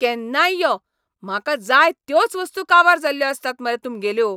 केन्नाय यो, म्हाका जाय त्योच वस्तू काबार जाल्ल्यो आसतात मरे तुमगेल्यो.